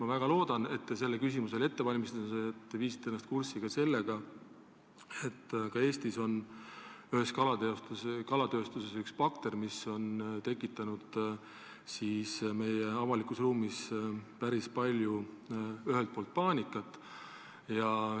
Ma väga loodan, et te sellele küsimusele vastamiseks end ette valmistades viisite ennast kurssi sellega, et ühes Eesti kalatööstuses on üks bakter meie avalikus ruumis päris palju paanikat tekitanud.